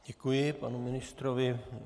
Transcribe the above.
Děkuji panu ministrovi.